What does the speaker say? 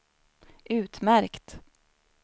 utmärkt